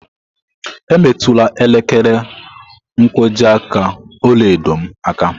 Emetụla elekere nkwojiaka ọla edo m aka!